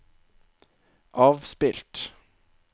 avspilt